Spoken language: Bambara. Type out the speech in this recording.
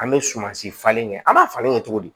An bɛ sumansi falen kɛ an b'a falen kɛ cogo di